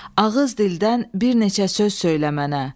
Ağız dildən bir neçə söz söylə mənə.